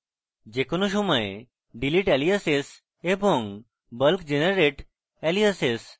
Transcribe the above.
যে কোনো সময় delete aliases এবং bulk generate aliases